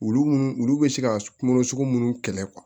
Olu munnu olu be se ka kungolo sugu munnu kɛlɛ